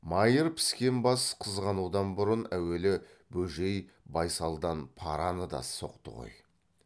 майыр піскен бас қызғанудан бұрын әуелі бөжей байсалдан параны да соқты ғой